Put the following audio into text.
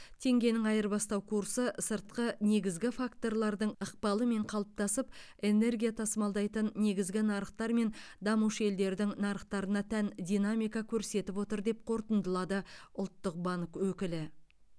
теңгенің айырбастау курсы сыртқы негізгі факторлардың ықпалымен қалыптасып энергия тасымалдайтын негізгі нарықтар мен дамушы елдердің нарықтарына тән динамика көрсетіп отыр деп қортындылады ұлттық банк өкілі